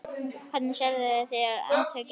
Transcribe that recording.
Hvernig sérðu fyrir þér átökin?